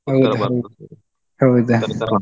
ಹೌದಾ .